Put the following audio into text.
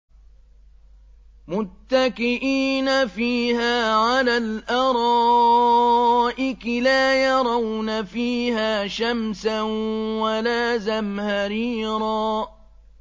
مُّتَّكِئِينَ فِيهَا عَلَى الْأَرَائِكِ ۖ لَا يَرَوْنَ فِيهَا شَمْسًا وَلَا زَمْهَرِيرًا